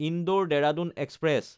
Indore-Dehradun express